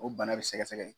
O bana bɛ sɛgɛsɛgɛ